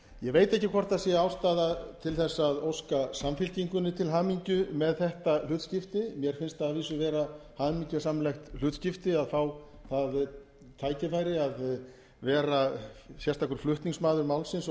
ég veit ekki hvort það er ástæða til að óska samfylkingunni til hamingju með þetta hlutskipti mér finnst það að vísu vera hamingjusamlegt hlutskipti að fá að það tækifæri að vera sérstakur flutningsmaður málsins og